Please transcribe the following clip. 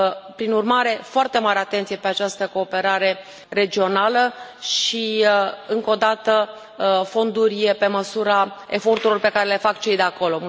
Prin urmare, foarte mare atenție pe această cooperare regională și, încă o dată, fonduri pe măsura eforturilor pe care le fac cei de acolo.